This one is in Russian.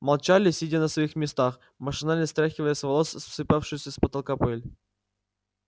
молчали сидя на своих местах машинально стряхивая с волос сыпавшуюся с потолка пыль